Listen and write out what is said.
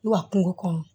Wa kungo kɔnɔ